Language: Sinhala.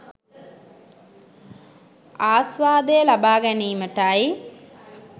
ආස්වාදය ලබා ගැනීමටයි.